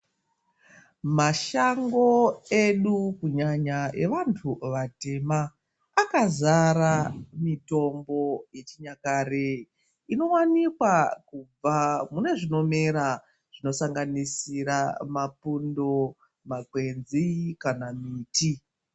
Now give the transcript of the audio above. Mashango edu kunyanya evantu vatema akazara mitombo yechinyakare inowanikwa kubva mune zvinomera zvinosanganisira mapundo, makwenzi kana miti.